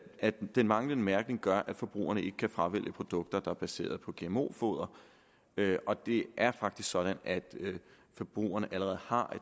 at den manglende mærkning gør at forbrugerne ikke kan fravælge produkter der er baseret på gmo foder og det er faktisk sådan at forbrugerne allerede har